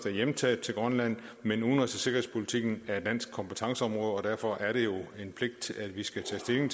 er hjemtaget til grønland men udenrigs og sikkerhedspolitikken er danske kompetenceområder og derfor er det jo en pligt at vi skal tage stilling